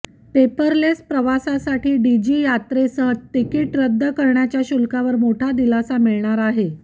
paperless प्रवासासाठी डिजीयात्रेसह ticket रद्द करण्याच्या शुल्कावर मोठा दिलासा मिळणार आहे